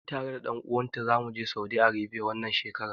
Ni tare da ɗan uwan ta zamu je Saudi Arebiya, wannan shekarar.